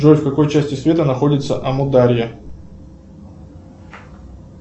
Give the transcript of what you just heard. джой в какой части света находится амударья